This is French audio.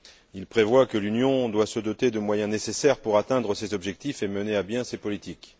Il prévoit que l'Union doit se doter de moyens nécessaires pour atteindre ses objectifs et mener à bien ses politiques.